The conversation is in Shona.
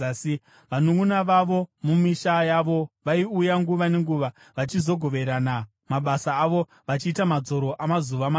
Vanunʼuna vavo mumisha yavo vaiuya nguva nenguva vachizogoverana mabasa avo vachiita madzoro amazuva manomwe.